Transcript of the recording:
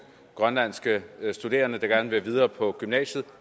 grønlandske studerende der gerne vil videre på gymnasiet